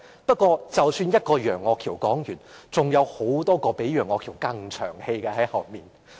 不過，一個楊岳橋說完，還有很多比楊岳橋更長氣的議員在後面。